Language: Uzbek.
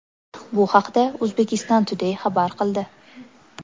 Bu haqda Uzbekistan Today xabar qildi .